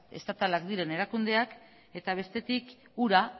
estatalak diren erakundeak eta bestetik ura